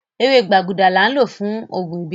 Ẹwẹ̀ gbàgúdà láń lọ́ fún oogun ìbílẹ̀.